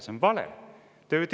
See on vale!